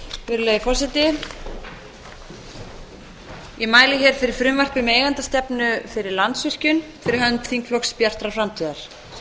virðulegi forseti ég mæli hér fyrir frumvarpi um eigendastefnu fyrir landsvirkjun fyrir hönd þingflokks bjartrar framtíðar